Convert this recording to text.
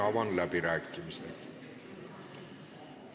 Avan läbirääkimised.